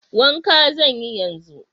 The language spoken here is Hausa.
Wanka zan yi yanzu.